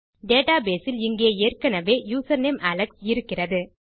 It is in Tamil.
டேட்டாபேஸ் இல் இங்கே ஏற்கெனெவே யூசர்நேம் அலெக்ஸ் இருக்கிறது